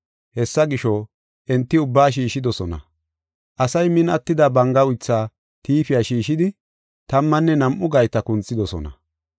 Hessa gisho, enti ubbaa shiishidosona. Asay min attida banga uytha tiifiya shiishidi tammanne nam7u gayta kunthidosona.